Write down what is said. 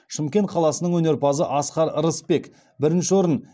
шымкент қаласының өнерпазы асқар рысбек бірінші орын